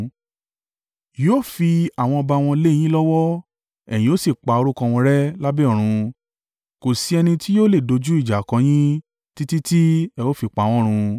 Yóò fi àwọn ọba wọn lé e yín lọ́wọ́, ẹ̀yin ó sì pa orúkọ wọn rẹ́ lábẹ́ ọ̀run. Kò sí ẹni tí yóò lè dojú ìjà kọ yín títí tí ẹ ó fi pa wọ́n run.